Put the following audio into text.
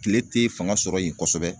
Tile tɛ fanga sɔrɔ yen kosɛbɛ.